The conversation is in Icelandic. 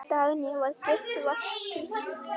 Dagný var gift Valtý.